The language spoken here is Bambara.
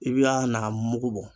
I bi a n'a mugu bɔ